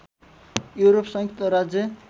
Europe संयुक्त राज्य